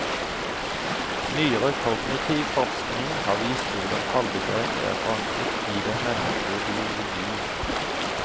Nyere kognitiv forskning har vist hvordan tallbegrepet er forankret i den menneskelige biologi.